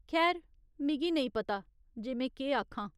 खैर, मिगी नेईं पता जे में केह् आखां।